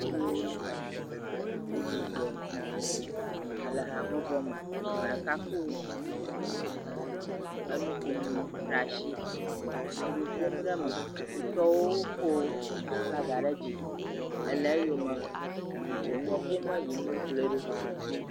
Yevuwo sugbɔ le habɔbɔ me. Ame ɖeka kɔ nuƒomɔ ɖe asi le nu ƒom ɖe me, wo tɔwo ko flaga ɖe dzi ele eyome wo nua ƒom yim wokplɔe ɖo.